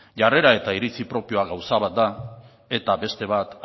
jarrera eta iritzi propioa gauza bat da eta beste bat